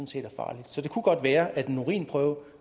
set er farlige så det kunne godt være at en urinprøve